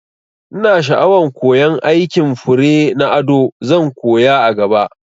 Ina sha'awan koyan aikin fure na ado, zan koya a gaba